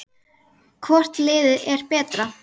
Hvort liðið er betra?